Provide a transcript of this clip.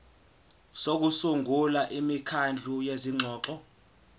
sokusungula imikhandlu yezingxoxo